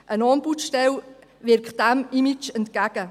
Eine Ombudsstelle wirkt diesem Image entgegen.